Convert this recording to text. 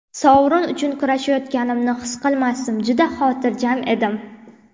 Sovrin uchun kurashayotganimni his qilmasdim, juda xotirjam edim.